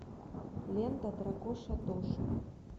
лента дракоша тоша